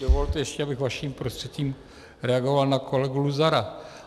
Dovolte ještě, abych vaším prostřednictvím reagoval na kolegu Luzara.